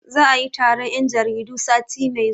Za'a yi taron 'yan jaridu sati mai zuwa.